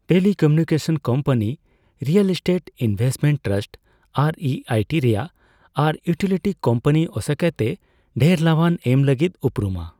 Telecommunication company, real estate investment trust (REIT ᱨᱮᱭᱟᱜ), ᱟᱨ utility company, ᱟᱥᱚᱠᱟᱭᱛᱮ, ᱰᱷᱮᱨ ᱞᱟᱵᱷᱟᱱ ᱮᱢ ᱞᱟᱹᱜᱤᱫ ᱩᱯᱨᱩᱢᱟ ᱾